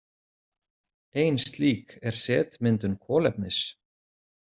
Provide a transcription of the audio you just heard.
Ein slík er setmyndun kolefnis.